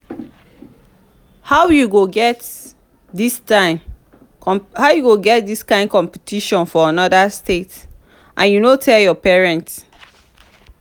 how you go get dis kyn competition for another state and you no tell your parents?